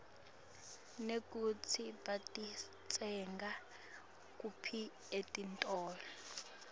nekutsi batitsenga kuphi etitolo